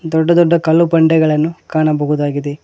ದೊಡ್ಡ ದೊಡ್ಡ ಕಲ್ಲು ಬಂಡೆಗಳನ್ನು ಕಾಣಬಹುದಾಗಿದೆ.